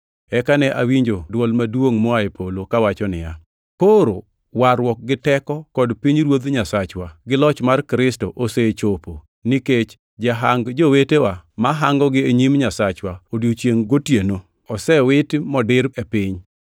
Eka ne awinjo dwol maduongʼ moa e polo, kawacho niya, “Koro warruok gi teko kod pinyruodh Nyasachwa, gi loch mar Kristo osechopo. Nikech jahang jowetewa, mahangonegi e nyim Nyasachwa odiechiengʼ gi otieno, osewit modir e piny.